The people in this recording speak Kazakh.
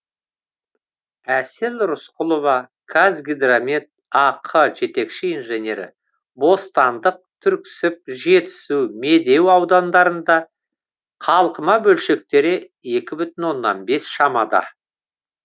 әсел рысқұлова қазгидромет ақ жетекші инженері бостандық түрксіб жетісу медеу аудандарында қалқыма бөлшектері екі бүтін оннан бес шамада